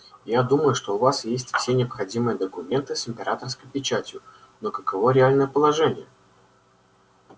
я думаю что у вас есть все необходимые документы с императорской печатью но каково реальное положение